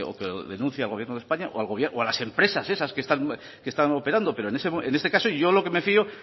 que denuncie al gobierno de españa o a las empresas esas que están operando pero en este caso yo lo que me fio